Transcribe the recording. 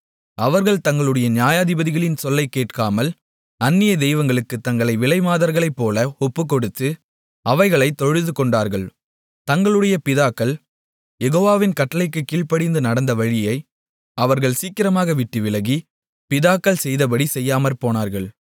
அவர்கள் தங்களுடைய நியாயாதிபதிகளின் சொல்லைக் கேட்காமல் அந்நிய தெய்வங்களுக்குத் தங்களை விலைமாதர்களைப்போல ஒப்புக்கொடுத்து அவைகளைத் தொழுதுகொண்டார்கள் தங்களுடைய பிதாக்கள் யெகோவாவின் கட்டளைகளுக்குக் கீழ்ப்படிந்து நடந்த வழியை அவர்கள் சீக்கிரமாக விட்டு விலகி பிதாக்கள் செய்தபடி செய்யாமற்போனார்கள்